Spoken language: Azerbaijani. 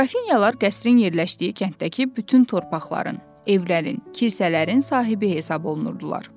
Qrafinyalar qəsrin yerləşdiyi kənddəki bütün torpaqların, evlərin, kilsələrin sahibi hesab olunurdular.